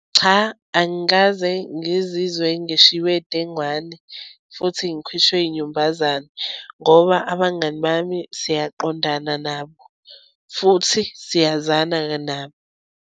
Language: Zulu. Cha angikaze ngizizwe ngishiwe dengwane futhi ngikhishwe inyumbazane ngoba abangani bami siyaqondana nabo futhi siyazana nabo.